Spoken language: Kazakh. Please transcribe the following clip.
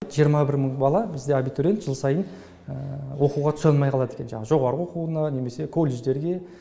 жиырма бір мың бала бізде абитуриент жыл сайын оқуға түсе алмай қалады екен жаңағы жоғарғы оқуына немесе колледждерге